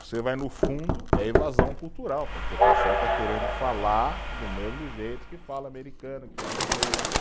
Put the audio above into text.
Você vai no fundo, é evasão cultural, porque o pessoal está querendo falar do mesmo jeito que fala americano, que fala inglês.